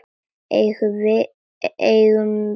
Eigi mun það verða.